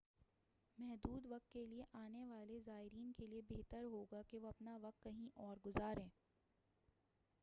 محدود وقت کے لیے آنے والے زائرین کے لیے بہتر ہوگا کہ وہ اپنا وقت کہیں اور گزاریں